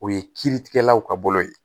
O ye kiiritigɛlaw ka bolo ye